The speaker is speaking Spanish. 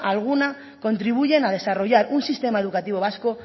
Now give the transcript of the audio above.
alguna contribuyen a desarrollar un sistema educativo vasco